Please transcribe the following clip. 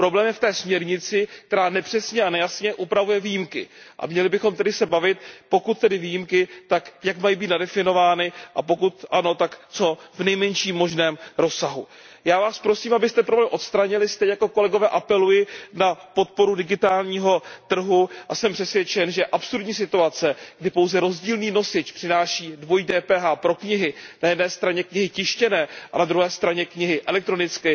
Problém je v té směrnici, která nepřesně a nejasně upravuje výjimky. Měli bychom se tedy bavit o tom, pokud výjimky, jak mají být nadefinovány, a pokud ano, tak v co nejmenším možném rozsahu. Já vás prosím, abyste problém odstranili, a stejně jako kolegové apeluji na podporu digitálního trhu. Jsem přesvědčen, že absurdní situace, kdy pouze rozdílný nosič přináší dvojí DPH pro knihy, na jedné straně knihy tištěné a na druhé straně knihy elektronické,